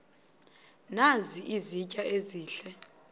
nazi izitya ezihle